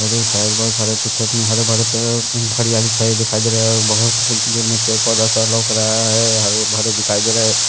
और साइड बहुत सारे खेत में हरे भरे खरियाली छाए दिखाई दे रहा है बहुत दूर में पेड़ पौधा लौक रहा है हरे भरे दिखाई दे रहा है।